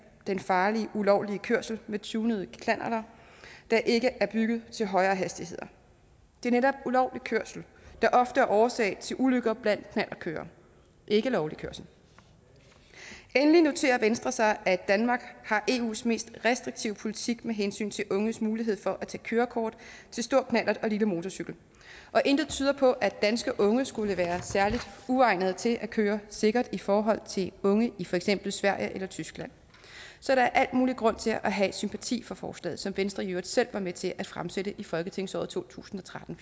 den farlige ulovlige kørsel med tunede knallerter der ikke er bygget til højere hastigheder det er netop ulovlig kørsel der ofte er årsag til ulykker blandt knallertkørere ikke lovlig kørsel endelig noterer venstre sig at danmark har eus mest restriktive politik med hensyn til unges mulighed for at tage kørekort til stor knallert og lille motorcykel og intet tyder på at danske unge skulle være særligt uegnede til at køre sikkert i forhold til unge i for eksempel sverige eller tyskland så der er al mulig grund til at have sympati for forslaget som venstre i øvrigt selv var med til at fremsætte i folketingsåret to tusind og tretten